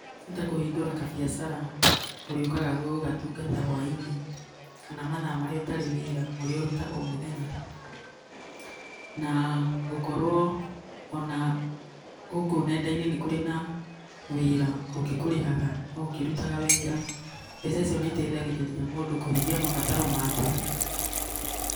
Ta kũhingũra kabiacara, ũrĩũkaga gũgatungata hwainĩ, kana mathaa marĩa ũtarĩ wĩra ũrĩa ũrutaga o mũthenya. Na gũkorwo ona gũkũ nenda-inĩ nĩ kũrĩ na mawĩra ũngĩkũrĩhaga o ũkirutaga wĩra. Mbeca ici nĩ iteithagĩrĩria mũndũ kũhingia mabataro make.